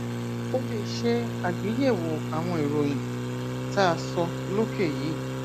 o lè ṣe àgbéyẹwò àwọn ìròyìn tá a sọ lókè yìí